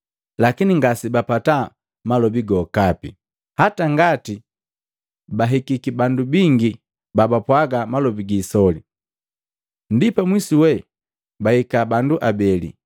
lakini ngasebapata malobi gokapai, hata ngati bahikiki bandu bingi babapwaga malobi giisoli. Ndipala pamwisu we baika bandu abeli,